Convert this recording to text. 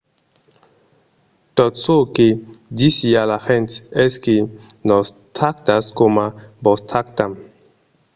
tot çò que disi a las gents es que nos tractatz coma vos tractam